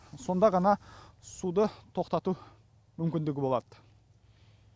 сонда ғана суды тоқтату мүмкіндігі болады